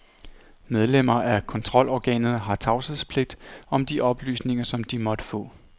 Medlemmer af kontrolorganet har tavshedspligt om de oplysninger, som de måtte få.